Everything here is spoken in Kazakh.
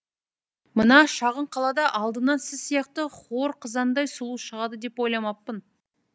мына шағын қалада алдымнан сіз сияқты хор қызындай сұлу шығады деп ойламаппын